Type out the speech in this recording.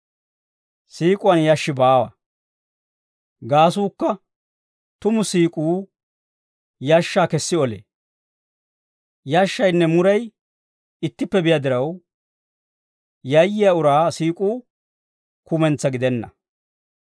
Siik'uwaan yashshi baawa; gaasuukka tumu siik'uu yashshaa kessi olee. Yashshaynne muray ittippe biyaa diraw, yayyiyaa uraa siik'uu kumentsaa gidenna.